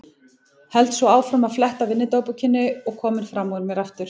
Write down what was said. Held svo áfram að fletta vinnudagbókinni og kominn fram úr mér aftur.